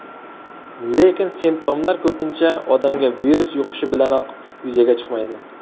Lekin simptomlar ko‘pincha odamga virus yuqishi bilanoq yuzaga chiqmaydi.